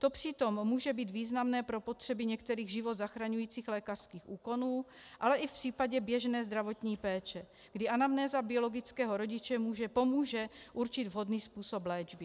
To přitom může být významné pro potřeby některých život zachraňujících lékařských úkonů, ale i v případě běžné zdravotní péče, kdy anamnéza biologického rodiče pomůže určit vhodný způsob léčby.